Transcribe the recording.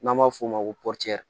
N'an b'a f'o ma ko